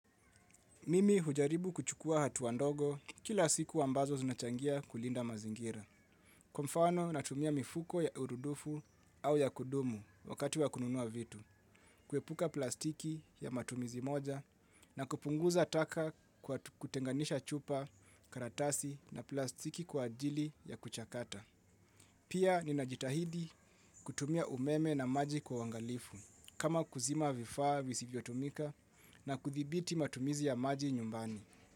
Mimi hujaribu kuchukua hatua ndogo kila siku ambazo zinachangia kulinda mazingira. Kwa mfano natumia mifuko ya urudufu au ya kudumu wakati wa kununua vitu. Kuepuka plastiki ya matumizi moja na kupunguza taka kwa kutenganisha chupa karatasi na plastiki kwa ajili ya kuchakata. Pia ninajitahidi kutumia umeme na maji kwa uangalifu kama kuzima vifaa visivyotumika na kuthibiti matumizi ya maji nyumbani.